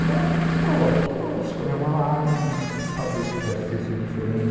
E ela chorou, chorou, escorreu uma lágrima, no sentido de talvez pudesse ser diferente.